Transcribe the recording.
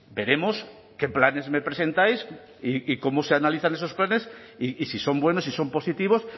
veremos qué planes me presentáis y cómo se analizan esos planes y si son buenos si son positivos